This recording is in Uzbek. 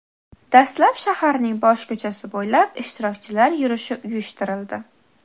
Dastlab shaharning bosh ko‘chasi bo‘ylab ishtirokchilar yurishi uyushtirildi.